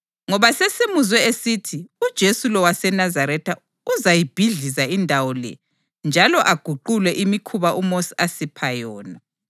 Ngoba sesimuzwe esithi uJesu lo waseNazaretha uzayibhidliza indawo le njalo aguqule imikhuba uMosi asipha yona.”